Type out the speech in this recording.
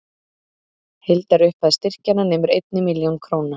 Heildarupphæð styrkjanna nemur einni milljón króna